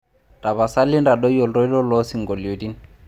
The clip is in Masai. tapoasali intadoi oltoilo loo isinkolioni